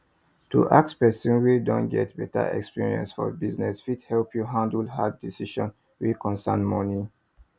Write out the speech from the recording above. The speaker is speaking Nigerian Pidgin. to ask person wey don get better experience for business fit help you handle hard decisions wey concern money